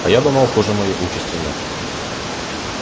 а я думал хуже моей участи нет